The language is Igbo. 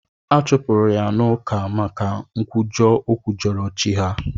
Achụpụrụ ya n'ụka maka nkwujọ o kwujọrọ chi ha.